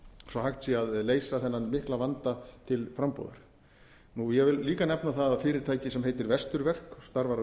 að hægt sé að leysa þennan mikla vanda til frambúðar ég vil líka nefna það að fyrirtæki sem heitir vesturverk og starfar á